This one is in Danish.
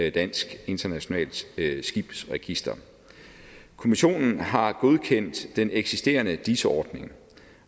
i dansk internationalt skibsregister kommissionen har godkendt den eksisterende dis ordning